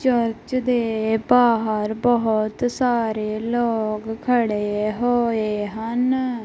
Church ਦੇ ਬਾਹਰ ਬਹੁਤ ਸਾਰੇ ਲੋਕ ਖੜੇ ਹੋਏ ਹਨ।